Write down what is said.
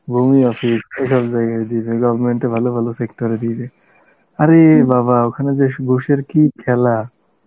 office এসব জায়গায় দিয়ে দেয়, government এ ভালো ভালো জায়গায় দিয়ে দেয় আরে বাবা ওখানে যে স~ ঘুষের কি খেলা